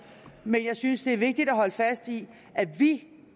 men jeg synes det er vigtigt at holde fast i at vi